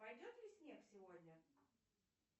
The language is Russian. пойдет ли снег сегодня